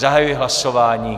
Zahajuji hlasování.